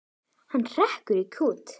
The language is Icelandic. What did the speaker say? Hann hrekkur í kút.